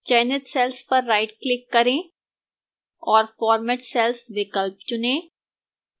चयनित cells पर rightclick करें और format cells विकल्प चुनें